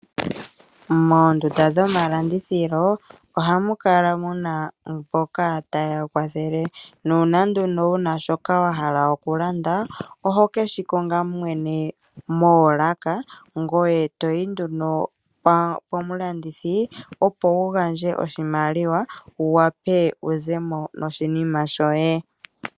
Moondunda dhomalandithilo ohamukala muna mboka ta yeya kwathele. Nuuna nduno wuna shoka wahala okulanda oho keshikonga mwene moolaka ngoye toyi nduno pomulandithi opo wugandje oshimaliwa wu wape wuzemo noshinima shoye.